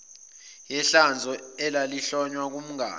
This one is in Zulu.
yehlazo elalihlonywa kumngani